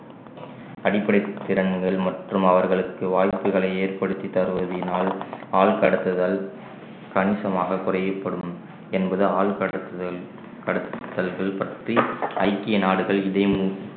அடிப்படைத் திறன்கள் மற்றும் அவர்களுக்கு வாய்ப்புகளை ஏற்படுத்தித் தருவதினால் ஆள் கடத்துதல் கணிசமாக குறையப்படும் என்பது ஆள் கடத்துதல் கடத்தல்கள் பற்றி ஐக்கிய நாடுகள் இதை